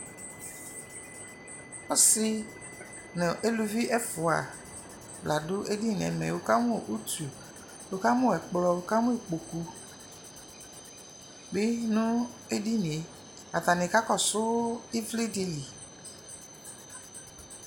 Ɔsi nʋ elʋvi ɛfua la du edini nɛ mɛ Wukamʋ utu, wukamʋ ɛkplɔ, wukamʋ ikpoku bi nʋ edini yɛ Atani kakɔsʋ ivli di li